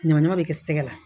Ɲamaɲama bɛ kɛ sɛgɛ la